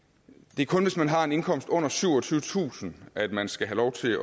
det er kun hvis man har en indkomst under syvogtyvetusind at man skal have lov til